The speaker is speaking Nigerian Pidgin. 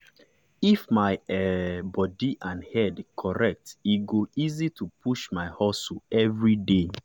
if my um body and head correct e go easy to push my hustle every day.